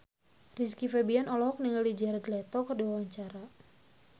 Rizky Febian olohok ningali Jared Leto keur diwawancara